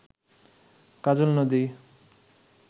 কাজল নদী